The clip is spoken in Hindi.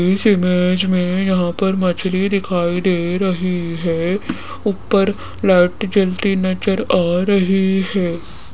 इस इमेज में यहां पर मछली दिखाई दे रही है ऊपर लाइट जलती नजर आ रही है।